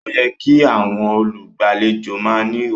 Ó yẹ kí àwọn olùgbàlejò máa ní ìwà